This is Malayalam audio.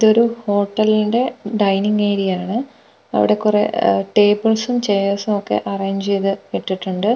ഇതൊരു ഹോട്ടലിന്റെ ഡൈനിങ് ഏരിയയാണ് അവിടെ കുറെ അഹ് ടേബിൾസും ചെയർസും ഒക്കെ അറേഞ്ച് ചെയ്തു ഇട്ടിട്ടുണ്ട് അവിടെ --